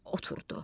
Oturdu.